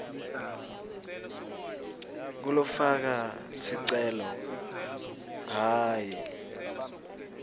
ngulofaka sicelo hhayi